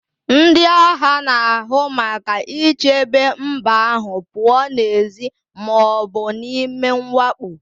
Ndị agha na-ahụ maka ichebe mba ahụ pụọ n'èzí ma ọ bụ n'ime mwakpo